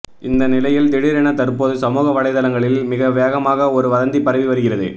இந்த நிலையில் திடீரென தற்போது சமூக வலைதளங்களில் மிக வேகமாக ஒரு வதந்தி பரவி வருகிறது